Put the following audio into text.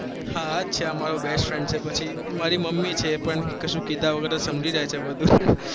હા છે મારો best friend છે પછી મારી મમ્મી છે એ પણ કસું કીધા વગર જ સમજી જાય છે બધું